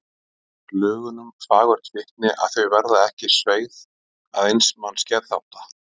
Það ber lögunum fagurt vitni að þau verða ekki sveigð að eins manns geðþótta.